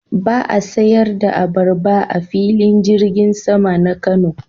Ba a sayar da abarba a Filin Jirgin sama na Kano.